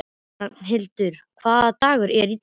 Rafnhildur, hvaða dagur er í dag?